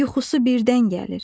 yuxusu birdən gəlir.